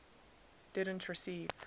didn t receive